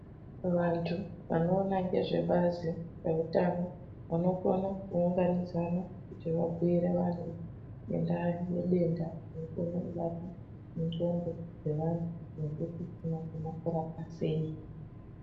Vantu vanoona ngezvebazi rezveutano vanokona kuunganidzana kuti vabhuire vantu ngenda yedenda rinokone kubata nxondo dzevantu nekuti rinokona kurapwa sei.